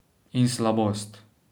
In slabost.